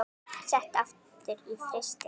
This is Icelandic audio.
Sett aftur í frysti.